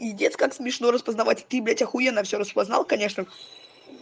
пиздец как смешно распознавать ты блядь ахуенно всё распознал конечно